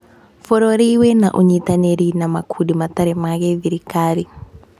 Bũrũri wĩna ũnyitanĩri na makundi matarĩ ma gĩthirikari.